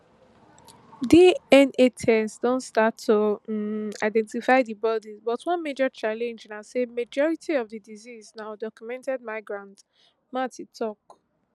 dna tests don start to um identify di bodies but one major challenge na say majority of di deceased na undocumented migrants mathe tok